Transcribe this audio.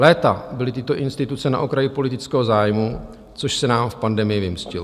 Léta byly tyto instituce na okraji politického zájmu, což se nám v pandemii vymstilo.